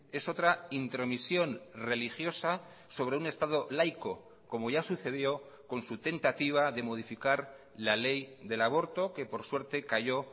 es otra intromisión religiosa sobre un estado laico como ya sucedió con su tentativa de modificar la ley del aborto que por suerte cayó